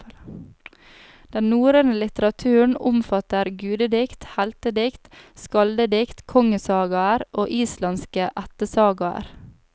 Den norrøne litteraturen omfatter gudedikt, heltedikt, skaldedikt, kongesagaer og islandske ættesagaer.